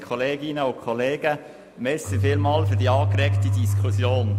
Vielen Dank für die angeregte Diskussion.